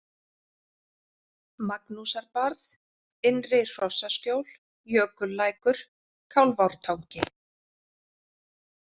Magnúsarbarð, Innri-Hrossaskjól, Jökullækur, Kálfártangi